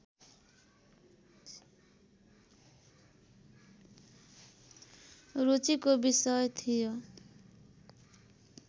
रुचिको विषय थियो